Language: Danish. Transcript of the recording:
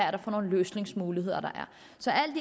er for løsningsmuligheder der